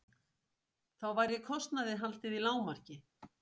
Þá væri kostnaði haldið í lágmarki